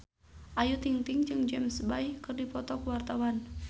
Ayu Ting-ting jeung James Bay keur dipoto ku wartawan